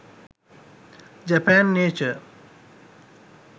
japan nature